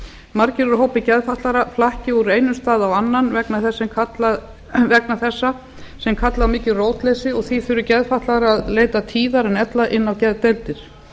margir úr hópi geðfatlaðra flakka úr einum stað í annan vegna þessa sem kallar á mikið rótleysi og því þurfi geðfatlaðir að leita tíðar en ella inn á geðdeildir